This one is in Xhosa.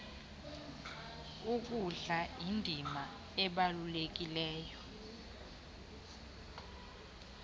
kudlala indima ebalulekileyo